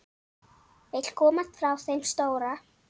Vill komast frá þeim stóra.